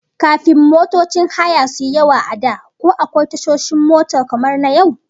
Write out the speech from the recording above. Kafin motocin haya suyi yawa a da, ko akwai tashoshin mota kamar na yau?